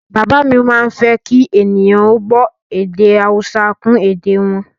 Bàbá mi má ń fẹ́ kí ènìyàn ó gbọ́ èdè Haúsá kún èdè e wọn